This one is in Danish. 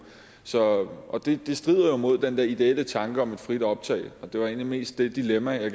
og det strider jo mod den der ideelle tanke om et frit optag det var egentlig mest det dilemma jeg